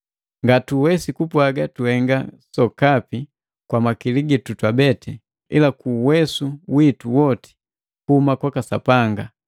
Ngatuwesi kupwaga tuhenga sokapi kwa makili gitu twabete, ila ku uwesu witu wote kuhuma kwaka Sapanga.